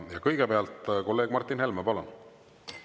Kõigepealt kolleeg Martin Helme, palun!